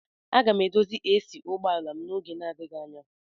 Aga m edozi AC ụgbọ ala m n'oge adịghị anya.